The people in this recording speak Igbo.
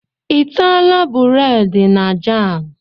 I ataala bureedi na jam?